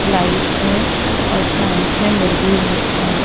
Lights है और stands में मुर्गी है।